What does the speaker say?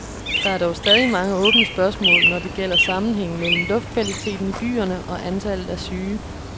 Der er dog stadig mange åbne spørgsmål, når det gælder sammenhængen mellem luftkvaliteten i byerne og antallet af syge.